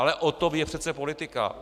Ale o tom je přece politika.